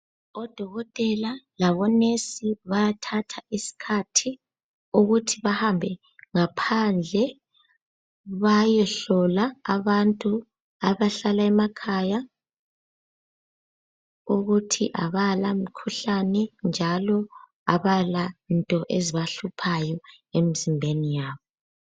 Odokotela labonesi bayathatha isikhathi ukuthi bahambe ngaphandle bayehlola abantu abahlala emakhaya ukuthi abala mikhuhlane njalo abalanto ezibahluphayo emzimbeni yabo.